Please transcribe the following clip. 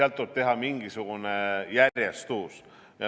Tuleb teha mingisugune järjestus.